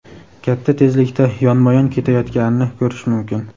katta tezlikda yonma-yon ketayotganini ko‘rish mumkin.